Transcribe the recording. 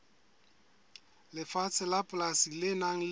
lefatshe la polasi le nang